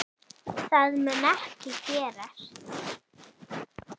Það mun ekki gerast.